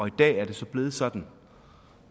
i dag er det så blevet sådan